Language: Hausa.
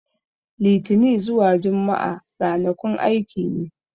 Litini zuwa Jumma'a ranakun aiki ne.